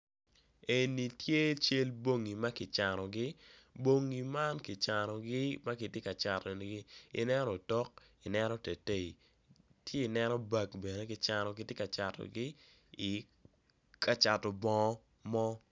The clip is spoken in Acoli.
Eni tye cal bongi makicanogi bongi kicanogi makitye ka catogi ineno otok, i neno tetei ci i neno bag bene kicanogi kitye ka catogi kacato bongo mo.